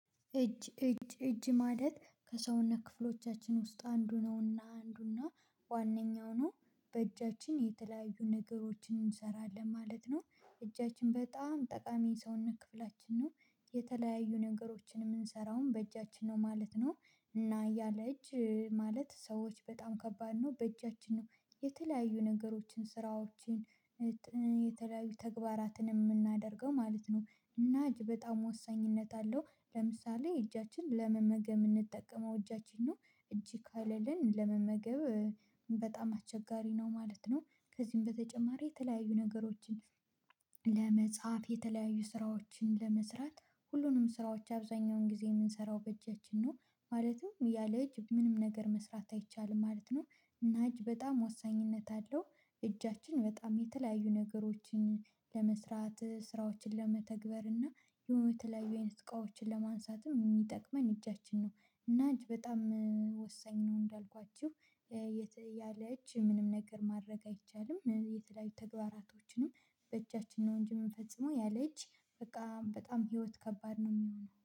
እጅ ማለት ከሰውነት ክፍሎቻችን ውስጥ አንዱ እና ዋንኛው ነው። የተለያዩ ነገሮችን እንሰራለን ማለት ነው። እጃችን በጣም ጠቃሚ የሰውነት ክፍላችን ነው። የተለያዩ ነገሮችን የምንሰራውም በእጃችን ነው ማለት ነው። እና ያለ እጅ ማለት ሰዎች በጣም ከባድ ነው በእጃችን ነው። የተለያዩ ነገሮችን ስራዎችን የተለያዩ ተግባራትን የምናደርገው ማለት ነው። እና እጅ በጣም ወሳኝነት አለው ለምሳሌ እጃችን ለመመገብ የምንጠቀመው እጃችን ነው። እጅ ከሌለን ለመመገብ በጣም አቸጋሪ ነው ማለት ነው። ከዚህም በተጨማሪ የተለያዩ ነገሮችን ለመጽሐፍ የተለያዩ ስራዎችን ለመስራት ሁሉንም ስራዎች አብዛኛውን ጊዜ የምንሰራው በእጃችን ነው። ማለትም ያለ እጅ ምንም ነገር መስራት አይቻልም ማለት ነው። እና እጅ በጣም ወሳኝነት አለው። እጃችን በጣም የተለያዩ ነገሮችን ለመስራት ስራዎችን ለመተግበር እና የሆኑ የተለያዩ አይነት እቃወችን ለማንሳትም የሚጠቅመን እጃችን ነው። እና እጅ በጣም ወሳኝ ነው እንዳልኳችሁ። የት ያለች ምንም ነገር ማድረግ አይቻልም የተለያዩ ተግባራቶችንም በእጃችን ነው እንጂ የምንፈጽመው ያለእጅ በቃ በጣም ህይወት ከባድ ነው የሚሆነው